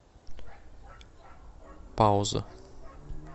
пауза